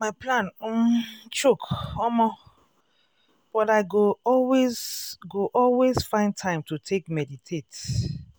my plan um choke omo!!! but i go always go always find time to take meditate.